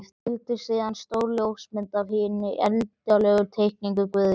Fylgdi síðan stór ljósmynd af hinni endanlegu teikningu Guðjóns.